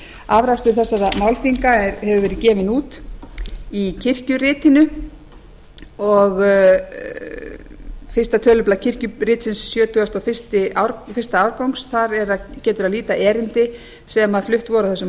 afrakstur þessara málþinga hefur verið gefinn út í fyrsta tölublað kirkjuritsins sjötugasta og fyrsti árgangur þar getur að líta erindi sem flutt voru á þessum